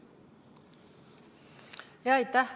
Aitäh!